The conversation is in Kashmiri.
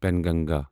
پنگنگا